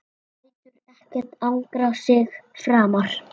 Lætur ekkert angra sig framar.